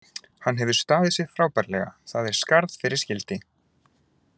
Hann hefur staðið sig frábærlega, það er skarð fyrir skildi.